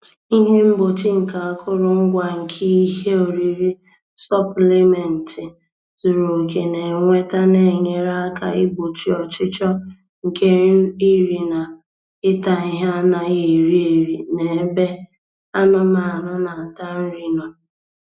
Ihe mgbochi nke akụrụngwa nke ihe oriri sọpịlịmentị zuru oke na-ewete na-enyere aka igbochi ọchịchọ nke iri na ịta ihe anaghị eri eri n'ebe anụmanụ na-ata nri nọ.